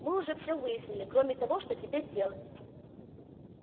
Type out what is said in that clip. мы уже все выяснили кроме того что теперь делать